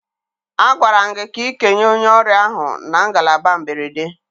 Agwara m gị ka ị kenye onye ọrịa ahụ na ngalaba mberede